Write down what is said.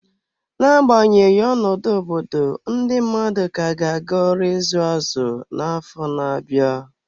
N'agbanyeghị ọnọdụ obodo, ndị mmadụ ka ga-aga ọrụ izu azụ na afọ na-abịa.